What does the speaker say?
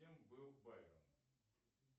кем был байден